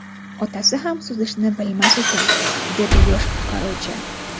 Otasi ham suzishni bilmas ekan”, dedi yosh qutqaruvchi.